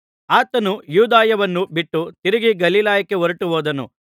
ಆತನು ಯೂದಾಯವನ್ನು ಬಿಟ್ಟು ತಿರುಗಿ ಗಲಿಲಾಯಕ್ಕೆ ಹೊರಟು ಹೋದನು